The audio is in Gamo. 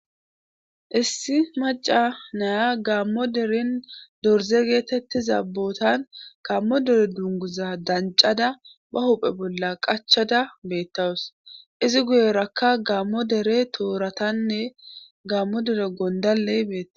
Issi maca naya gaammo derin dorze geetettiza bootan gammo dere dunguza dancada ba huphe bolla qachada beettawus izi guyerakka gaammo dere tooratanne gammo dere gondalley beetta